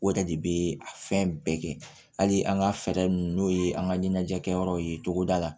O yɛrɛ de bɛ a fɛn bɛɛ kɛ hali an ka fɛɛrɛ ninnu n'o ye an ka ɲɛnajɛ kɛyɔrɔw ye togoda la